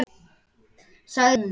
sagði hún svo.